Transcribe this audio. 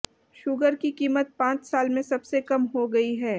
sugar की कीमत पांच साल में सबसे कम हो गई है